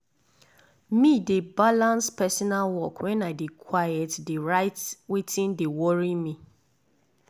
me de balans personal work wen i dey quite dey write wetin de worry me.